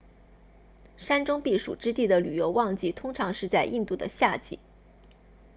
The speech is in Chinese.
山中避暑之地的旅游旺季通常是在印度的夏季